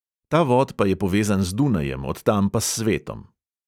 Ta vod pa je povezan z dunajem, od tam pa s svetom.